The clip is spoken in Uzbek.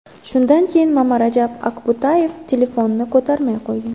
Shundan keyin Mamarajab Akbutayev telefonni ko‘tarmay qo‘ygan.